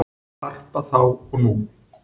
Harpa þá og nú